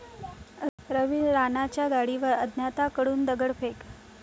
रवी राणांच्या गाडीवर अज्ञाताकडून दगडफेक